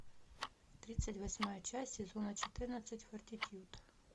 тридцать восьмая часть сезона четырнадцать фортитьюд